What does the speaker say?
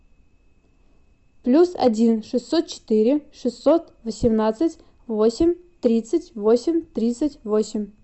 плюс один шестьсот четыре шестьсот восемнадцать восемь тридцать восемь тридцать восемь